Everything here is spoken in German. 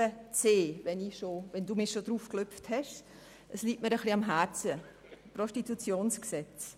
Das Gesetz über das Prostitutionsgewerbe (PGG) liegt mir ein bisschen am Herzen.